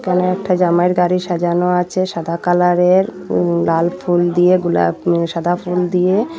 এখানে একটা জামাইয়ের গাড়ি সাজানো আছে সাদা কালারের উম লাল ফুল দিয়ে গোলাপ উম সাদা ফুল দিয়ে।